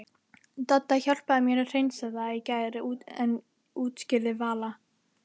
Dadda hjálpaði mér að hreinsa það í gær útskýrði Vala.